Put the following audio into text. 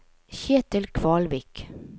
Ketil Kvalvik